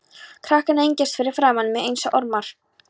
Krakkarnir engjast fyrir framan mig einsog ormar.